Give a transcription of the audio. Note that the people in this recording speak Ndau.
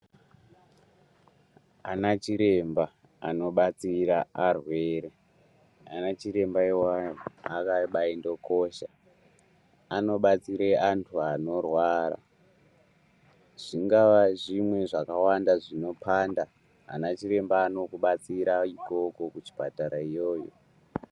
Ana chiremba anodetsera arwere, ana chiremba avavo akabaaindokosha anobatsire antu anorwara zvingava zvimwe zvinopanda ana chiremba anokubatsira ikoko kuchipatara iyoyo.